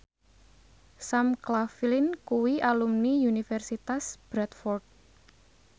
Sam Claflin kuwi alumni Universitas Bradford